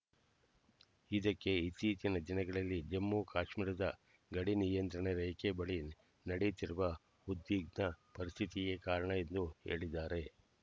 ಇದಕ್ಕೆ ಇತ್ತೀಚಿನ ದಿನಗಳಲ್ಲಿ ಜಮ್ಮು ಕಾಶ್ಮೀರದ ಗಡಿ ನಿಯಂತ್ರಣ ರೇಖೆ ಬಳಿ ನಡೆಯುತ್ತಿರುವ ಉದ್ವಿಗ್ನ ಪರಿಸ್ಥಿತಿಯೇ ಕಾರಣ ಎಂದು ಹೇಳಿದ್ದಾರೆ